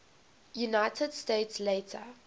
united states later